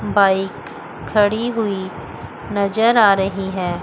Bike खड़ी हुई नजर आ रही है।